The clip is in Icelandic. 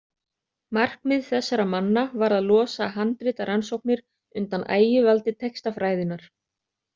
Markmið þessara manna var að losa handritarannsóknir undan ægivaldi textafræðinnar.